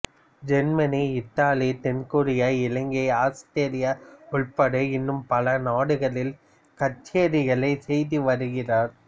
Germany Italy தென் Korea இலங்கை Australia உட்பட இன்னும் பல நாடுகளில் கச்சேரிகள் செய்து வருகிறார்